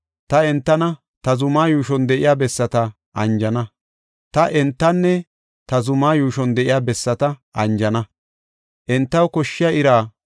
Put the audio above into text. Ta entanne ta zuma yuushon de7iya bessata anjana. Entaw koshshiya ira woden woden immana; he iray entaw anjo gidana.